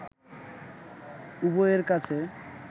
উভয়ের কাছে